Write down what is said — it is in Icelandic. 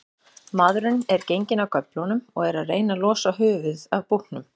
Maðurinn er genginn af göflunum og er að reyna losa höfuðið af búknum.